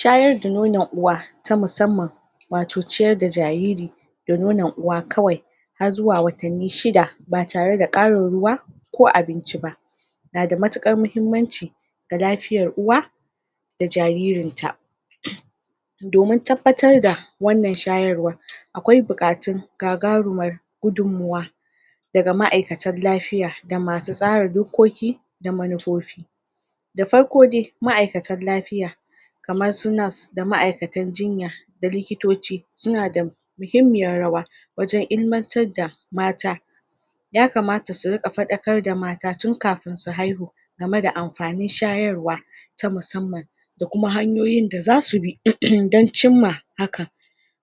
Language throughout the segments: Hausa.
shayar da nonon uwa ta musamman wato ciyar da jariri da nonon uwa kawai har zuwa watanni shida ba tare da ba tare da ƙarin ruwa ko abinci ba nada mutuƙar muhimmanci ga lafiyar uwa da jaririnta domin tabbatar da wannan shayarwa aƙwai buƙatun gagarumar gudunmawa daga ma'aikatan lafiya da masu tsara dokoki da manufufi da farko dai ma'aikatan lafiya kamarsu nurse da ma'aikatan jinya da likitoci suna da muhimmiyar rawa wajan ilmantar da mata ya kamata su rinƙa faɗakar da mata tun kafin su game da amfanin shayarwa ta musamman da kuma hanyoyin da zasu bi don cinma hakan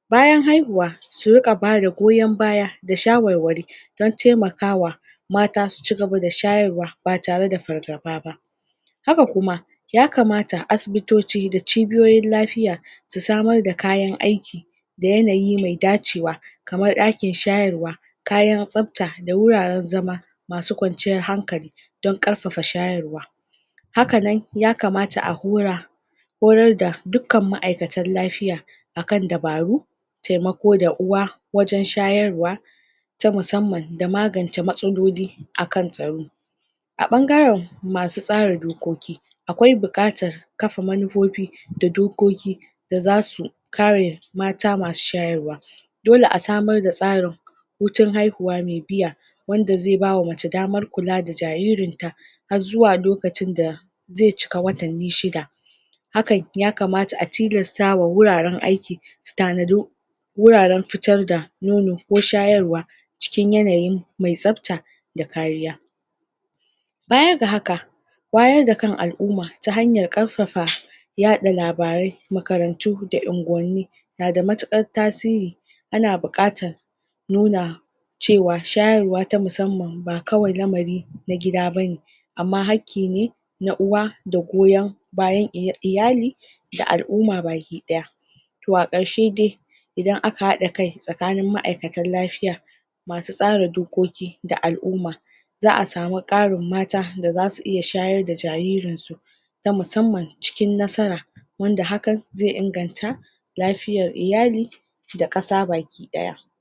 bayan haihuwa su riƙa bada goyan baya da shawarware don taimakawa mata su cigaba da shyarwa ba tare da fargaba ba haka kuma ya kamata asibitoci da cibiyoyin lafiya su samar da kayan aiki da yanayi me dacewa kamar ɗakin shayara kayan tsafta da wuraran zama masu kwanciyar hankali don ƙarfafa shayarwa hakanan yakamata a hora horar da dukkan ma'aikatan lafiya akan dabaru taimako da uwa wajan shayarwa ta musamman da magance matsaloli akan tsaro a ɓangaran masu tsara dokoki aƙwai buƙatar kafa manufufi da dokoki da zasu kare mata masu shayarwa dole asamar da hutun haihuwa me biya wanda zai bawa mace damar kula da jaririn ta har zuwa lokacin da zai cika watanni shida hakan ya kamata a tilastawa wuraran aiki su tanadi wuraran fitar da nono ko shayarwa cikin yanayin me tsafta da kariya baya ga haka wayar da kan al'umma ta hanyar ƙarfafa yaɗa labarai makarantu unguwanni nada matuƙar tasiri ana buƙatar nuna cewa shayarwa ta musamman ba kawai lamari na gida bane amma hakkine na uwa da goyan bayan iyali da al'umma baki ɗaya to a ƙarshe dai idan aka haɗa kai tsakanin ma'aikatan lafiya masu tsara dokoki da al'uma za a samu ƙarin mata da zasu iya shayar da jaririn su ta musamman cikin nasara wanda hakan zai inganta lafiyar iyali da ƙasa baki ɗaya